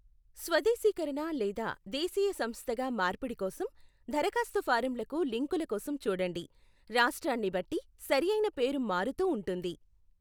స్వదేశీకరణ లేదా దేశీయ సంస్థగా మార్పిడి కోసం దరఖాస్తు ఫారంలకు లింకుల కోసం చూడండి, రాష్ట్రాన్ని బట్టి సరియైన పేరు మారుతూ ఉంటుంది.